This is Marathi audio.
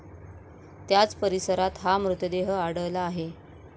त्याच परिसरात हा मृतदेह आढळला आहे.